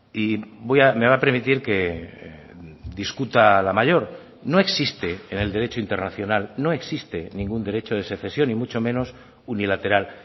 y me va a permitir que discuta la mayor no existe en el derecho internacional no existe ningún derecho de secesión ni mucho menos unilateral